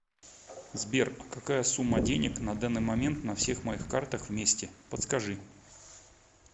сбер а какая сумма денег на данный момент на всех моих картах вместе подскажи